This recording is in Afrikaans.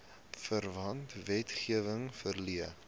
verwante wetgewing verleen